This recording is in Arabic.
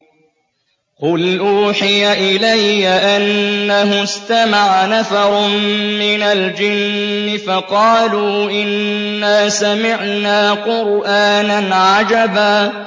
قُلْ أُوحِيَ إِلَيَّ أَنَّهُ اسْتَمَعَ نَفَرٌ مِّنَ الْجِنِّ فَقَالُوا إِنَّا سَمِعْنَا قُرْآنًا عَجَبًا